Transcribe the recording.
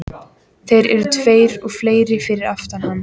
Þeir eru tveir og fleiri fyrir aftan þá.